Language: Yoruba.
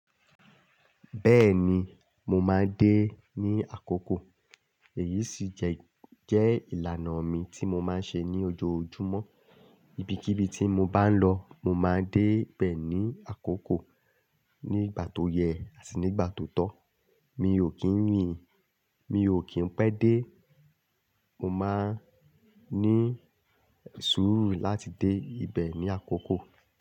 Bẹ́ẹ̀ni, mo máa ń dé ní àkókò èyí sì jẹ́, jẹ́ ìlànà mi tí mo máa ń ṣe ní ojoojúmọ́. Ibikíbi tí mo bá ń lọ, mo máa dé bẹ̀ ní àkókò. Ni ìgbà tó yẹ àti ní ìgbà tó tọ́. Mi ò kín ní, mi ò kín pẹ́ dé, mo máa ń ní súùrù láti dé ibẹ̀ ní àkókò.